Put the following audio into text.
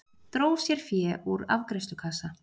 Dró sér fé úr afgreiðslukassa